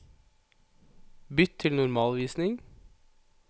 Bytt til normalvisning